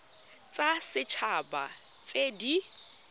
tsa set haba tse di